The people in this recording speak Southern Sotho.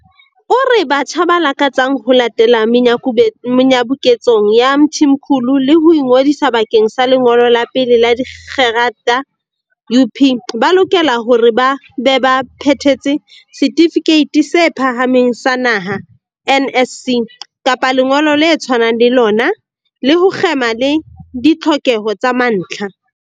O re batjha ba lakatsang ho latela menyabuketsong ya Mthimkhulu le ho ingodisa bakeng sa lengolo la pele la dikgerata UP ba lokela hore ba be ba phethetse Setifikeiti se Phahameng sa Naha, NSC, kapa lengolo le tshwanang le lona, le ho kgema le ditlhokeho tsa mantlha.